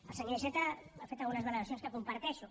el senyor iceta ha fet algunes valoracions que comparteixo